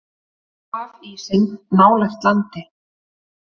Hafísinn nálægt landi